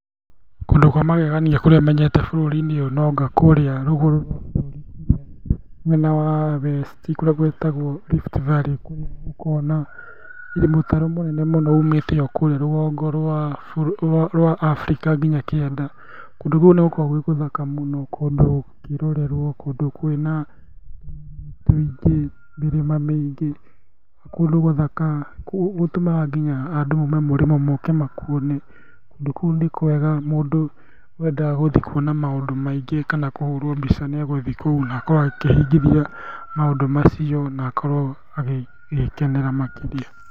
Kũndũ kwa magegania kũrĩa menyete bũrũri-inĩ ũyũ no anga kũrĩa rũgũrũ rwa bũrũri mwena wa west i kũrĩa gwĩtagwo Rift valley kũrĩa gũkoragwo na mũtaro mũnene mũno ũmĩte okũrĩa rũgongo rwa Africa nginya kĩanda. Kũndũ kũu nĩgũkoragwo gwĩ gũthaka mũno, kũndũ kũngĩrorerwo, kũndũ kwĩna tũingĩ, mũrĩma mĩingĩ, kũndũ gũthaka gũtũmaga nginya andũ maume mũrĩmo moke makuone, kũndũ kũu nĩkwega, mũndũ wendaga gũthiĩ kuona maũndũ maingĩ kana gũthiĩ kũhũrwo mbica nĩegũthiĩ kũu na akorwo agĩkĩhingithia maũndũ macio na akorwo agĩkenera makĩria.